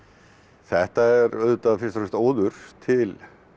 þetta er auðvitað fyrst og fremst óður til